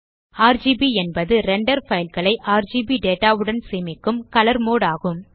RGB என்பது render fileகளை RGB data உடன் சேமிக்கும் கலர் மோடு ஆகும்